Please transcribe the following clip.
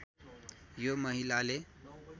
यो महिलाले